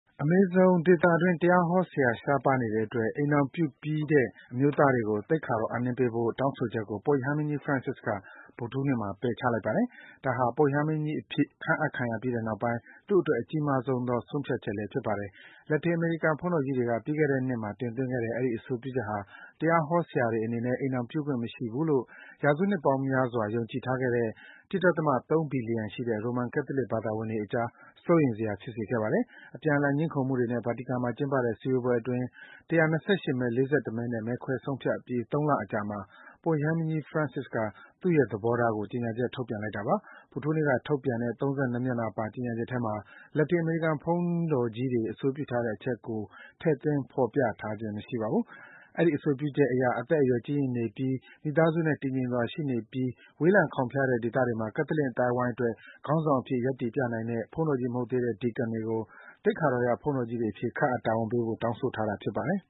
အမေဇုံဒေသတွင်း တရားဟောဆရာ ရှားပါးနေတဲ့အတွက် အိမ်ထောင်ပြုပြီးတဲ့ အမျိုးသားတွေကို သိက္ခာတော်အပ်နှင်းပေးဖို့ တောင်းဆိုချက်ကို ပုပ်ရဟန်းမင်းကြီး Francis က ဗုဒ္ဓဟူးနေ့မှာ ပယ်ချလိုက်ပါတယ်။ ဒါဟာ ပုပ်ရဟန်းမင်းကြီး အဖြစ် ခန့်အပ်ခံရပြီးနောက်ပိုင်း သူ့အတွက် အကြီးမားဆုံးသော ဆုံးဖြတ်ချက်လည်း ဖြစ်ပါတယ်။ လက်တင်အမေရိကန် ဘုန်းတော်ကြီးတွေက ပြီးခဲ့တဲ့နှစ်မှာ တင်သွင်းခဲ့တဲ့ အဲဒီအဆိုပြုချက်ဟာ တရားဟောဆရာတွေ အနေနဲ့ အိမ်ထောင်ပြုခွင့် မရှိဘူးလို့ ရာစုနှစ်ပေါင်းများစွာ ယုံကြည်ထားခဲ့ကြတဲ့ ၁ ဒသမ ၃ ဘီလျံ ရှိတဲ့ ရိုမန်ကက်သလစ် ဘာသာဝင်တွေအကြား စိုးရိမ်စရာ ဖြစ်စေခဲ့တာပါ။ အပြန်အလှန် ငြင်းခုံမှုတွေနဲ့ ဗာတီကန်မှာ ကျင်းပတဲ့ စည်းဝေးပွဲအတွင်း ၁၂၈ မဲ၊ ၄၁ မဲနဲ့ မဲခွဲဆုံးဖြတ်အပြီး ၃ လအကြာမှာ ပုပ်ရဟန်းမင်းကြီး Francis က သူ့ရဲ့သဘောထားကို ကြေညာချက်ထုတ်ပြန် ပြောဆိုလိုက်တာပါ။ ဗုဒ္ဓဟူးနေ့က ထုတ်ပြန်တဲ့ ၃၂ မျက်နှာပါ ကြေညာချက်ထဲမှာ လက်တင်အမေရိကန် ဘုန်းတော်ကြီးတွေ အဆိုပြုထားတဲ့အချက်ကိုတောင် ထည့်သွင်း ဖော်ပြထားခြင်း မရှိပါဘူး။ အဲဒီ အဆိုပြုချက်အရ အသက်အရွယ် ကြီးရင့်နေပြီး မိသားစုနဲ့ တည်ငြိမ်စွာ ရှိနေပြီး ဝေးလံခေါင်ဖျားတဲ့ ဒေသတွေမှာ ကက်သလစ် အသိုင်းဝိုင်းအတွက် ခေါင်းဆောင်အဖြစ် ရပ်တည်ပြနိုင်တဲ့ ဘုန်းတော်ကြီး မဟုတ်သေးတဲ့ Deacon တွေကို သိက္ခာတော်ရ ဘုန်းတော်ကြီးတွေ အဖြစ် ခန့်အပ် တာဝန်ပေးဖို့ တောင်းဆိုထားတာ ဖြစ်ပါတယ်